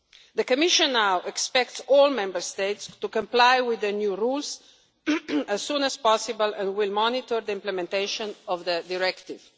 The Commission now expects all Member States to comply with the new rules as soon as possible and will monitor the implementation of the Directive.